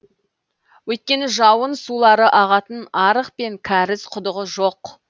өйткені жауын сулары ағатын арық пен кәріз құдығы жоқ